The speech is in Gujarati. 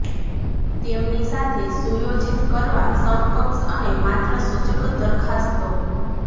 તેમની સાથે સુયોજિત કરવા સમકક્ષ અને માત્ર સૂચક દરખાસ્તો